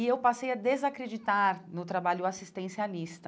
E eu passei a desacreditar no trabalho assistencialista.